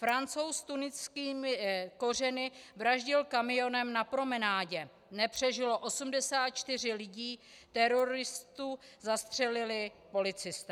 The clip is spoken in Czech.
Francouz s tuniskými kořeny vraždil kamionem na promenádě, nepřežilo 84 lidí, teroristu zastřelili policisté.